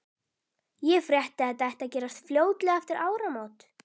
Ég frétti, að þetta ætti að gerast fljótlega eftir áramót